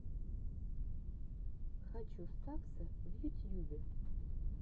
хочу стакса в ютьюбе